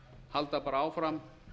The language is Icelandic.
halda bara áfram